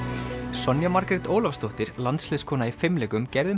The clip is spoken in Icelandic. Sonja Margrét Ólafsdóttir landsliðskona í fimleikum gerði um